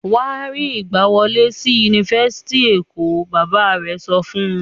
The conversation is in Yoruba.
"Wà á rí ìgbàwọlé sí Yunifásitì Èkó! Bàbá rẹ̀ sọ fún un.